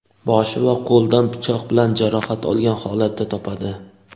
boshi va qo‘lidan pichoq bilan jarohat olgan holatda topadi.